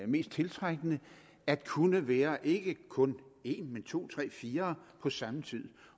mest tiltrækkende at kunne være ikke kun en men to tre fire på samme tid